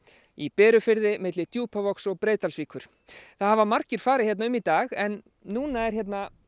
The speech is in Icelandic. í Berufirði milli Djúpavogs og Breiðdalsvíkur það hafa margir farið hér um í dag en núna er hér